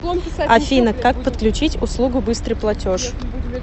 афина как подключить услугу быстрый платеж